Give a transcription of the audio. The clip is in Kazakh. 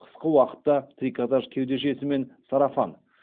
қысқы уақытта трикотаж кеудешесі мен сарафан